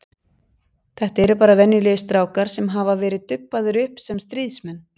Þetta eru bara venjulegir strákar sem hafa verið dubbaðir upp sem stríðsmenn.